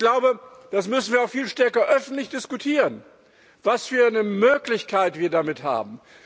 Ich glaube, wir müssen auch viel stärker öffentlich diskutieren, was für eine Möglichkeit wir damit haben.